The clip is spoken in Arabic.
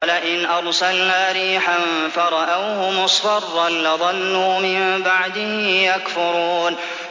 وَلَئِنْ أَرْسَلْنَا رِيحًا فَرَأَوْهُ مُصْفَرًّا لَّظَلُّوا مِن بَعْدِهِ يَكْفُرُونَ